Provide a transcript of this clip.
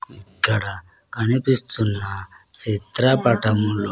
ఇక్కడ కనిపిస్తున్న చిత్రపటంలో--